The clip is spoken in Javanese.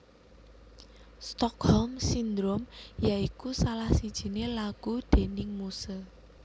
Stockholm Syndrome ya iku salah sijine lagu déning Muse